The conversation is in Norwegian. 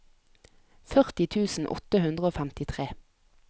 førti tusen åtte hundre og femtitre